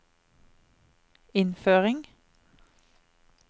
innføring